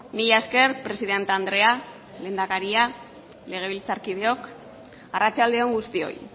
mila esker presidente andrea lehendakaria legebiltzarkideok arratsalde on guztioi